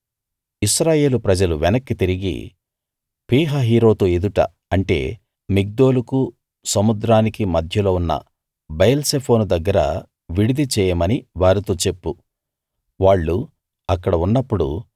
ఇశ్రాయేలు ప్రజలు వెనక్కి తిరిగి పీహహీరోతు ఎదుట అంటే మిగ్దోలుకూ సముద్రానికీ మధ్యలో ఉన్న బయల్సెఫోను దగ్గర విడిది చేయమని వారితో చెప్పు వాళ్ళు అక్కడ ఉన్నప్పుడు